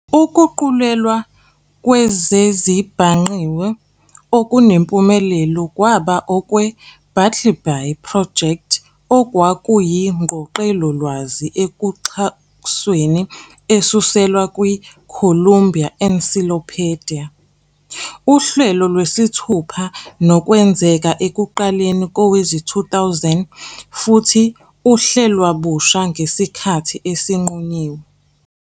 Ukuguqulelwa kwezezibhangqiwe okunempumelelo kwaba okwe-Bartleby Project okuyingqoqelolwazi ekuxhakaxholo esuselwa kwi-"Columbia Encyclopedia", uhlelo lwesithupha, nokwenzeka ekuqaleni kowezi-2000 futhi ehlelwabusha ngesikhathi esinqunyinyiwe.